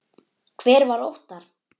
Hver var Óttar?